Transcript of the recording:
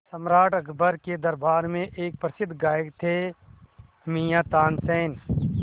सम्राट अकबर के दरबार में एक प्रसिद्ध गायक थे मियाँ तानसेन